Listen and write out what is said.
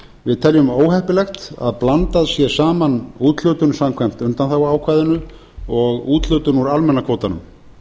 við teljum óheppilegt að blandað sé saman úthlutun samkvæmt undanþáguákvæðinu og úthlutun úr almenna kvótanum